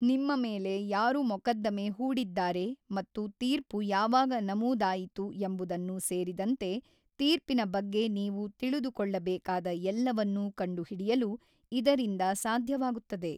ನಿಮ್ಮ ಮೇಲೆ ಯಾರು ಮೊಕದ್ದಮೆ ಹೂಡಿದ್ದಾರೆ ಮತ್ತು ತೀರ್ಪು ಯಾವಾಗ ನಮೂದಾಯಿತು ಎಂಬುದನ್ನು ಸೇರಿದಂತೆ ತೀರ್ಪಿನ ಬಗ್ಗೆ ನೀವು ತಿಳಿದುಕೊಳ್ಳಬೇಕಾದ ಎಲ್ಲವನ್ನೂ ಕಂಡುಹಿಡಿಯಲು ಇದರಿಂದ ಸಾಧ್ಯವಾಗುತ್ತದೆ.